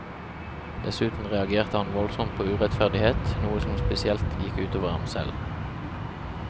Dessuten reagerte han voldsomt på urettferdighet, noe som spesielt gikk utover ham selv.